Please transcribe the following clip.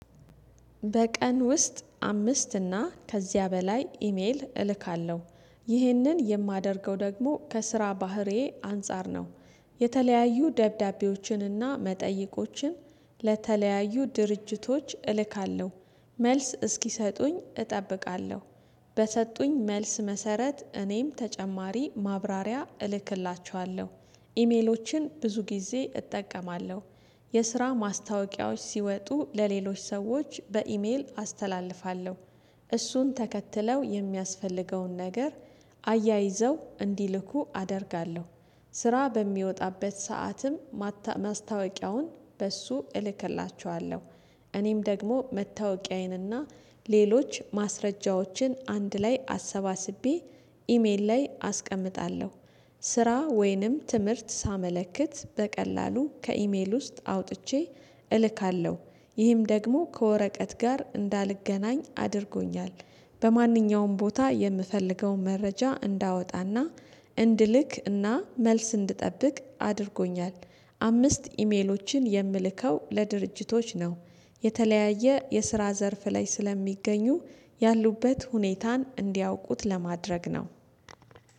በቀን ውስጥ አምስት እና ከዚያ በላይ ኢሜል እልካለሁ። ይህንን የማደርገው ደግሞ ከስራ ባህርዬ አንፃር ነው። የተለያዩ ደብዳቤዎችንና መጠይቆችን ለተለያዩ ድርጅቶች እልካለሁ። መልስ እስኪሰጡኝ እጠብቃለሁ። በሰጡኝ መልስ መሰረት እኔም ተጨማሪ ማብራሪያ እልክላችኋለሁ። ኢሜሎችን ብዙ ጊዜ እጠቀማለሁ። የስራ ማስታወቂያዎች ሲወጡ ለሌሎች ሰዎች በኢሜል አስተላልፋለሁ። እሱን ተከትለው የሚያስፈልገውን ነገር አያይዘው እንዲልኩ አደርጋለሁ። ስራ በሚወጣበት ሰዓትም ማስታወቂያውን በእሱ እልክላችኋለሁ። እኔም ደግሞ መታወቂያዬንና ሌሎች ማስረጃዎችን አንድ ላይ አሰባስቤ ኢሜል ላይ አስቀምጣለሁ። ስራ ወይንም ትምህርት ሳመለክት በቀላሉ ከኢሜል ውስጥ አውጥቼ እልካለሁ። ይህም ደግሞ ከወረቀት ጋር እንዳልገናኝ አድርጎኛል። በማንኛውም ቦታ የምፈልገውን መረጃ እንዳወጣና እንድልክ እና መልስ እንድጠብቅ አድርጎኛል። አምስት ኢሜሎችን የምልከው ለድርጅቶች ነው። የተለያየ የስራ ዘርፍ ላይ ስለሚገኙ ያሉበት ሁኔታን እንዲያውቁት ለማድረግ ነው።